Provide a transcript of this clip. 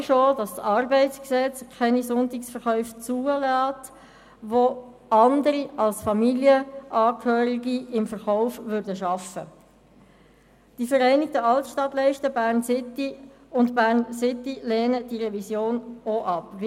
Klar ist auch, dass das Bundesgesetz über die Arbeit in Industrie, Gewerbe und Handel (Arbeitsgesetz, ArG) keine Sonntagsverkäufe zulässt, wenn andere als Familienangehörige im Verkauf arbeiten.